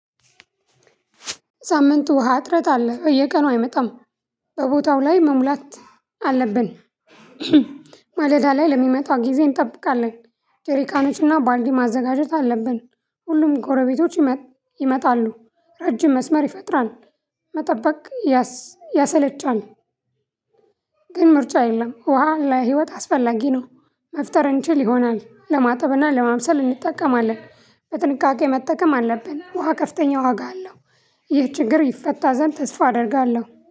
ሳምንቱ ውሃ ጥረት አለ እየቀኑ አይመጣም በቦታው ላይ መሙላት አለብን። ማለዳ ላይ ለሚመጣው ጊዜ እንጠብቃለን። ጀሪቃኖችና ባልዲ ማዘጋጀት አለብን። ሁሉም ጎረቤቶች ይመጣሉ ረጅም መስመር ይፈጥራል። መጠበቅ ያሰለቻል። ግን ምርጫ የለም ውሃ ለህይወት አስፈላጊ ነው። መፍጠር እንችል ይሆናል ለማጠብና ለማብሰል እንጠቀማለን በጥንቃቄ መጠቀም አለብን። ውሃ ከፍተኛ ዋጋ አለው። ይህ ችግር ይፈታ ዘንድ ተስፋ አደርጋለሁ